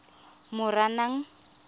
moranang